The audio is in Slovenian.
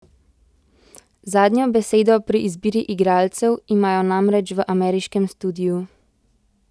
Zadnjo besedo pri izbiri igralcev imajo namreč v ameriškem studiu.